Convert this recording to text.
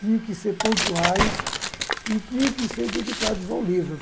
tinham que ser pontuais e tinham que ser dedicados ao livro.